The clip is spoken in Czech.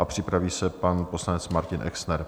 A připraví se pan poslanec Martin Exner.